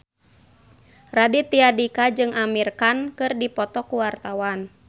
Raditya Dika jeung Amir Khan keur dipoto ku wartawan